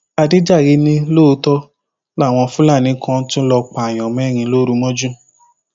àdèjàre ni lóòótọ làwọn fúlàní kan tún lọọ pààyàn mẹrin lóru mọjú